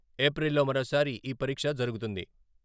ఏప్రిల్లో మరోసారి ఈ పరీక్ష జరుగుతుంది.